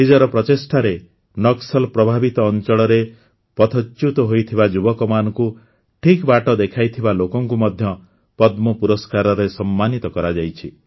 ନିଜର ପ୍ରଚେଷ୍ଟାରେ ନକ୍ସଲ ପ୍ରଭାବିତ ଅଂଚଳରେ ପଥଚ୍ୟୁତ ହୋଇଥିବା ଯୁବକମାନଙ୍କୁ ଠିକ ବାଟ ଦେଖାଇଥିବା ଲୋକଙ୍କୁ ମଧ୍ୟ ପଦ୍ମ ପୁରସ୍କାରରେ ସମ୍ମାନିତ କରାଯାଇଛି